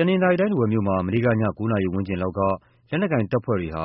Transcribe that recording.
တနသ်ာရီတိုင်း ထားဝယ်မြို့မှာ မနေ့က ည ၉ နာရီဝန်းကျင်လောက်က လက်နက်ကိုင်တပ်ဖွဲ့တွေက